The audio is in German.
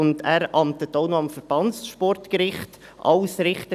Er amtet zudem im Verbandssportgericht als Richter.